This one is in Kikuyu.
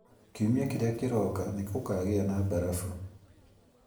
kiumia kĩrĩa kĩroka nĩ gũkaagĩa na mbarabu